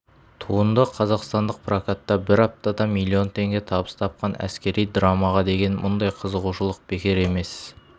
туынды қазақстандық прокатта бір аптада млн теңге табыс тапқан әскери драмаға деген мұндай қызығушылық бекер емес